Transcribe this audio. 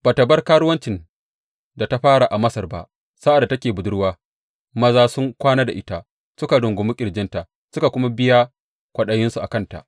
Ba ta bar karuwancin da ta fara a Masar ba, sa’ad da take budurwa maza sun kwana da ita, suka rungumi ƙirjinta suka kuma biya kwaɗayinsu a kanta.